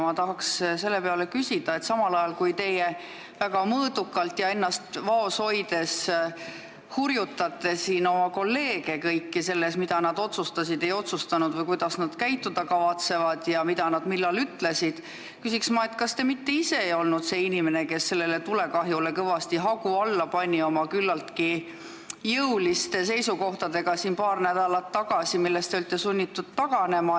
Ma tahan selle peale küsida, et te küll väga mõõdukalt ja ennast vaos hoides hurjutate siin kõiki oma kolleege selle pärast, mida nad otsustasid või ei otsustanud või kuidas nad käituda kavatsevad ja mida nad millal ütlesid, aga kas te mitte ise ei olnud see inimene, kes sellele tulekahjule kõvasti hagu alla pani oma küllaltki jõuliste seisukohtadega paar nädalat tagasi, millest te olite sunnitud taganema.